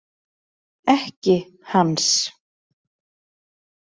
Ekki hans.